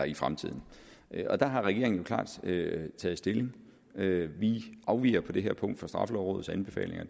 i fremtiden og der har regeringen jo klart taget taget stilling til det vi afviger på det her punkt fra straffelovrådets anbefalinger